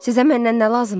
Sizə məndən nə lazımdır?